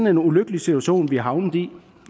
en ulykkelig situation vi er havnet i